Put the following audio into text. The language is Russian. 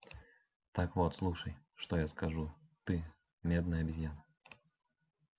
так вот слушай что я скажу ты медная обезьяна